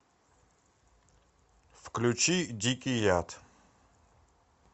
включи дикий яд